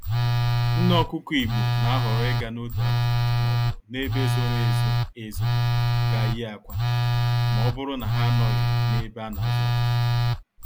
Nné Ọkụkọ Igbo n'ahọrọ ịga n'otu akụkụ m'obu n'ebe zoro ezo ezo gaa yie akwa, mọbụrụ na ha anọghị n'ebe anazụ ọkụkọ